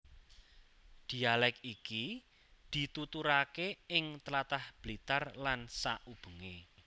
Dhialèk iki dituturake ing tlatah Blitar lan saubengé